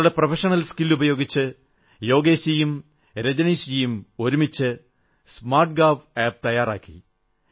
തങ്ങളുടെ professional skill ഉപയോഗിച്ച് യോഗേശ്ജിയും രജനീശ്ജിയും ഒരുമിച്ച് സ്മാർട്ട് ഗാവ് ആപ് തയ്യാറാക്കി